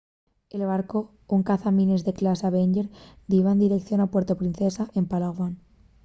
el barcu un cazamines de clase avenger diba en direición a puerto princesa en palawan